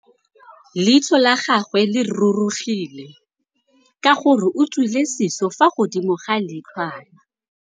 Leitlhô la gagwe le rurugile ka gore o tswile sisô fa godimo ga leitlhwana.